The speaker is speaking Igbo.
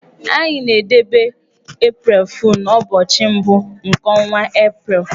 Anyị na-edebe 'April Fool' n'ụbọchị mbụ nke ọnwa April.